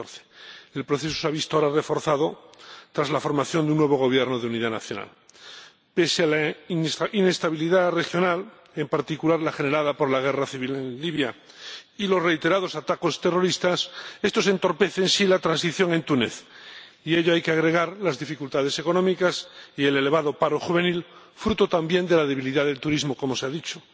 2014. El proceso se ha visto ahora reforzado, tras la formación de un nuevo Gobierno de unidad nacional, pese a la inestabilidad regional, en particular la generada por la guerra civil en Libia y los reiterados ataques terroristas. Estos entorpecen, sí, la transición en Túnez, y a ello hay que agregar las dificultades económicas y el elevado paro juvenil, fruto, también, de la debilidad del turismo, como se ha dicho.